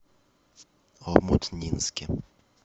омутнинске